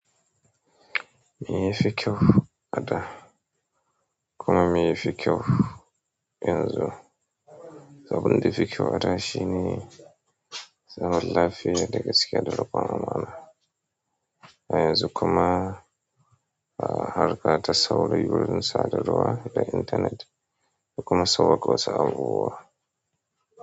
Me yafi kyau a da kuma meye fi kyau yanzu? Abinda ya fi kyau a da shine zaman lafiya da gaskiya da riƙon amana a yanzu kuma harka ta saurayi gurin sadarwa da internet da kuma so ko samuwa.